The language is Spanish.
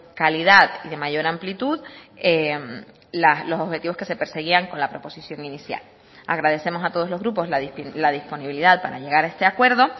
calidad y de mayor amplitud los objetivos que se perseguían con la proposición inicial agradecemos a todos los grupos la disponibilidad para llegar a este acuerdo